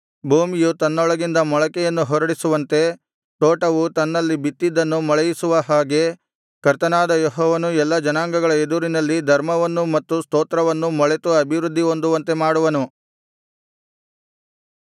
ಭೂಮಿಯು ತನ್ನೊಳಗಿಂದ ಮೊಳಕೆಯನ್ನು ಹೊರಡಿಸುವಂತೆ ತೋಟವು ತನ್ನಲ್ಲಿ ಬಿತ್ತಿದ್ದನ್ನು ಮೊಳೆಯಿಸುವ ಹಾಗೆ ಕರ್ತನಾದ ಯೆಹೋವನು ಎಲ್ಲಾ ಜನಾಂಗಗಳ ಎದುರಿನಲ್ಲಿ ಧರ್ಮವನ್ನೂ ಮತ್ತು ಸ್ತೋತ್ರವನ್ನೂ ಮೊಳೆತು ಅಭಿವೃದ್ಧಿ ಹೊಂದುವಂತೆ ಮಾಡುವನು